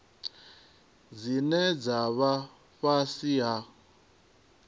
dzine dza vha fhasi ha